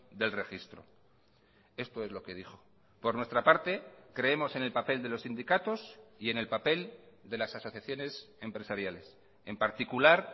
del registro esto es lo que dijo por nuestra parte creemos en el papel de los sindicatos y en el papel de las asociaciones empresariales en particular